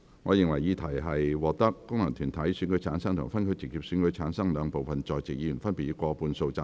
我認為議題獲得經由功能團體選舉產生及分區直接選舉產生的兩部分在席議員，分別以過半數贊成。